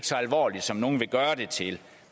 så alvorligt som nogle vil gøre det til